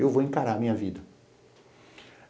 Eu vou encarar a minha vida.